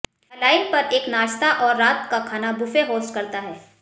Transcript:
यह लाइन पर एक नाश्ता और रात का खाना बुफे होस्ट करता है